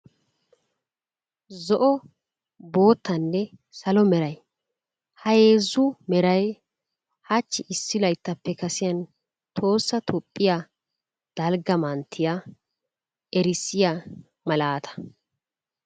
Zo'o, boottaanne salo meraay ha heezzu meraay hachchi issi layttappe kasiyan tohoossa toophphiyaa dalgga manttiya erissiyaa malaata.